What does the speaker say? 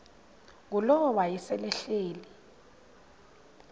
ngulowo wayesel ehleli